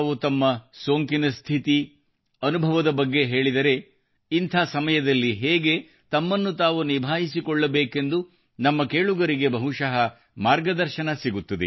ತಾವು ತಮ್ಮ ಸೋಂಕಿನ ಸ್ಥಿತಿ ಅನುಭವದ ಬಗ್ಗೆ ಹೇಳಿದರೆ ಇಂಥ ಸಮಯದಲ್ಲಿ ಹೇಗೆ ತಮ್ಮನ್ನು ತಾವು ನಿಭಾಯಿಸಿಕೊಳ್ಳಬೇಕೆಂದು ನಮ್ಮ ಕೇಳುಗರಿಗೆ ಬಹುಶಃ ಮಾರ್ಗದರ್ಶನ ಸಿಗುತ್ತದೆ